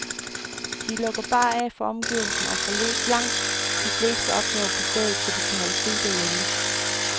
De lukker bare af for omgivelserne og får løst langt de fleste opgaver på stedet, så de kan holde fri derhjemme.